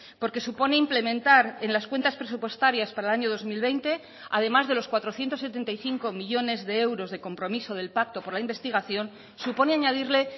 porque supone implementar en las cuentas presupuestarias para el año dos mil veinte además de los cuatrocientos setenta y cinco millónes de euros de compromiso del pacto por la investigación supone añadirle